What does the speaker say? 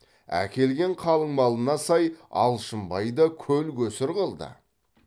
әкелген қалыңмалына сай алшынбай да көл көсір қылды